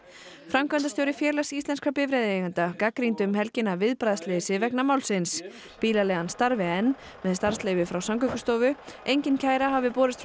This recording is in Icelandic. framkvæmdastjóri Félags íslenskra bifreiðaeigenda gagnrýndi um helgina viðbragðsleysi vegna málsins bílaleigan starfi enn með starfsleyfi frá Samgöngustofu engin kæra hafi borist